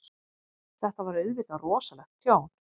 Þetta var auðvitað rosalegt tjón.